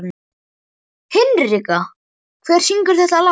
Hinrikka, hver syngur þetta lag?